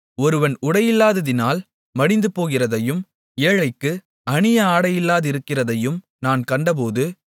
ஒருவன் உடையில்லாததினால் மடிந்துபோகிறதையும் ஏழைக்கு அணிய ஆடையில்லாதிருக்கிறதையும் நான் கண்டபோது